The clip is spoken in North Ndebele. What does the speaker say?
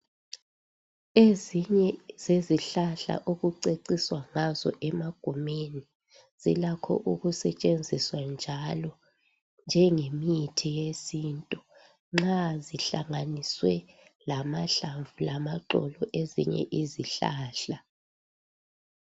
Ezinye zezihlahla okuceciswa ngazo emagumeni zilakho okusetshenziswa njalo njengemithi yesintu nxa zihlanganiswe lamahlamvu lamaxolo ezinye izihlahla .